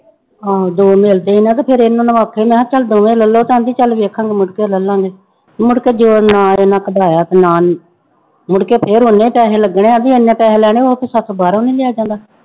ਹਾਂ ਦੋ ਮਿਲਦੇ ਸੀ ਮੈਂ ਕਿਹਾ ਫਿਰ ਇਹਨਾਂ ਨੂੰ ਆਖਿਆ ਮੈਂ ਕਿਹਾ ਚੱਲ ਦੋਵੇਂ ਲੈ ਲਾ ਕਹਿੰਦੀ ਚੱਲ ਵੇਖਾਂਗੇ ਮੁੜਕੇ ਲੈ ਲਵਾਂਗੇ, ਮੁੜਕੇ ਗਏ ਨਾ ਇਹਨਾਂ ਕਢਾਇਆ ਤੇ ਨਾ ਮੁੜਕੇ ਫਿਰ ਓਨੇ ਪੈਸੇ ਲੱਗਣੇ ਆਂ ਵੀ ਇੰਨੇ ਪੈਸੇ ਲੈਣੇ ਉਹ ਤੇ ਸਾਥੋਂ ਬਾਹਰੋਂ ਨੀ ਲਿਆ ਜਾਂਦਾ।